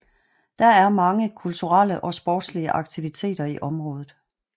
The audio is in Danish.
Der er mange kulturelle og sportslige aktiviteter i området